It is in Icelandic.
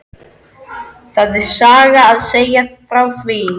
Það er saga að segja frá því.